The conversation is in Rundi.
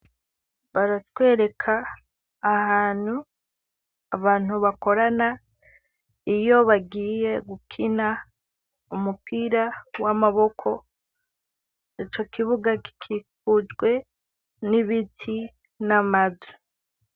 Baratwereka, ahantu, abantu bakorana iyo bagiye gukina, umupira, w'amaboko ico kibuga kikujwe n'ibiti n'amazu.